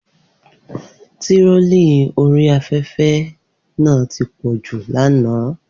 Online Trolling ti pọ̀ jù lánàá.